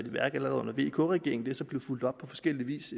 i værk allerede under vk regeringen det er så blevet fulgt op på forskellig vis